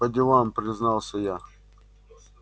по делам признался я